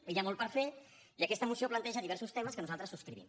i hi ha molt per fer i aquesta moció planteja diversos temes que nosaltres subscrivim